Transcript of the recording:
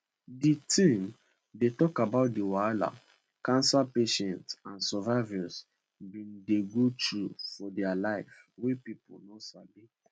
di theme dey tok about di wahala cancer patients and survivors bin dey go through for dia life wey pipo no sabi